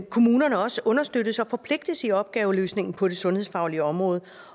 kommunerne også understøttes og forpligtes i opgaveløsningen på det sundhedsfaglige område